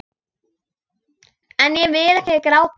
En ég vil ekki gráta.